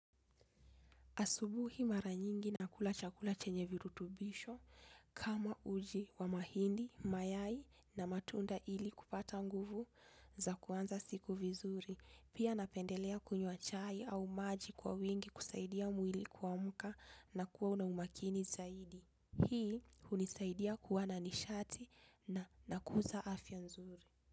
Asubuhi mara nyingi nakula chakula chenye virutubisho kama uji wa mahindi, mayai na matunda ili kupata nguvu za kuanza siku vizuri. Pia napendelea kunywa chai au maji kwa wingi kusaidia mwili kuamka na kuwa una umakini zaidi. Hii unisaidia kuwa na nishati na nakuza afya nzuri.